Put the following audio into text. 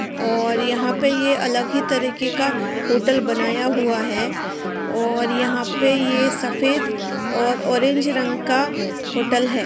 और यहाँ पे ये अलग ही तरीके का होटल बनाया हुआ है और यहाँ पे ये सफेद और ऑरेंज रंग का होटल है।